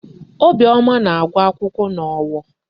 Obiọma na-agụ akwụkwọ n'Owo.